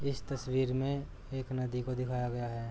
इस तस्वीर में एक नदी को दिखाया गया है।